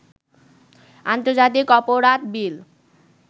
আন্তর্জাতিক অপরাধ বিল